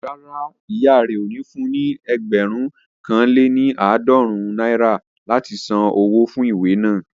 Rárá, ìyá rẹ ò ní fun ní ẹgbẹ̀rún kan lé ní àádọ́rùn-ún náírà láti san wó fún ìwé naa